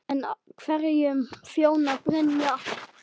En hverjum þjónar Brynja helst?